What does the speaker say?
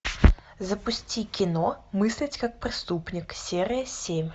запусти кино мыслить как преступник серия семь